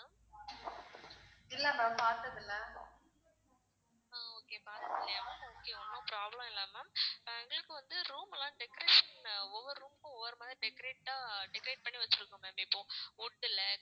இப்போ வந்து room எல்லாம் decoration ஒவ்வொரு room க்கும் ஒவ்வொரு மாதிரி decorate ஆ decorate பண்ணி வச்சிருக்கோம் ma'am இப்போ wood ல